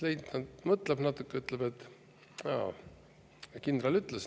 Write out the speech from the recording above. Leitnant mõtleb natuke, ütleb: "Aa, kindral ütles.